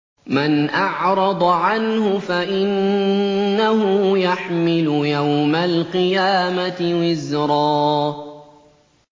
مَّنْ أَعْرَضَ عَنْهُ فَإِنَّهُ يَحْمِلُ يَوْمَ الْقِيَامَةِ وِزْرًا